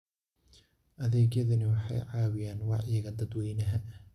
Adeegyadani waxay caawiyaan wacyiga dadweynaha.